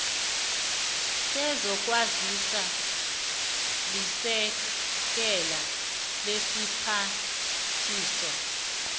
sezokwazisa lisekela lesiphathiswa